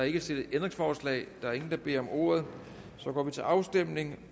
ikke stillet ændringsforslag der er ingen der beder om ordet og så går vi til afstemning